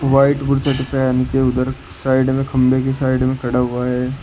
White पहन के उधर साइड में खंबे की साइड में खड़ा हुआ है।